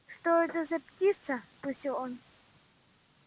что это за птица спросил он